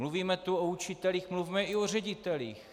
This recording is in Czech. Mluvíme tu o učitelích, mluvme i o ředitelích.